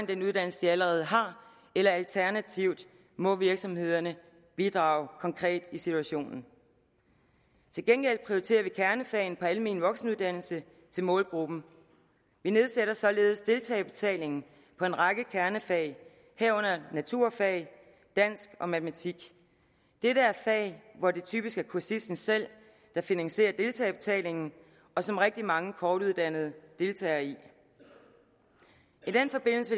den uddannelse de allerede har eller alternativt må virksomhederne bidrage i den konkrete situation til gengæld prioriterer vi kernefagene på almen voksenuddannelse til målgruppen vi nedsætter således deltagerbetalingen på en række kernefag herunder naturfag dansk og matematik dette er fag hvor det typisk er kursisten selv der finansierer deltagerbetalingen og som rigtig mange kortuddannede deltager i i den forbindelse